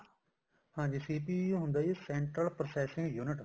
ਹਾਂਜੀ CPU ਹੁੰਦਾ central processing unit